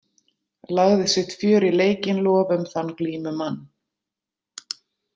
Lagði sitt fjör í leikinn lofum þann glímumann.